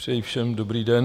Přeji všem dobrý den.